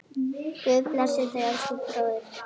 Guð blessi þig, elsku bróðir.